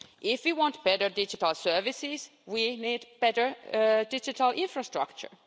If we want better digital services, we need better digital infrastructure.